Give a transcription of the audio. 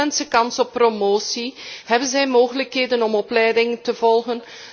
Hebben mensen kans op promotie, hebben zij mogelijkheden om opleidingen te volgen?